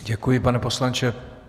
Děkuji, pane poslanče.